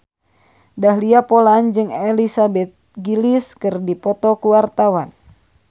Dahlia Poland jeung Elizabeth Gillies keur dipoto ku wartawan